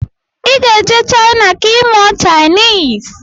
Iga ejee china ka imụọ chinese!!